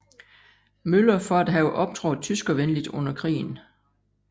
Møller for at have optrådt tyskervenligt under krigen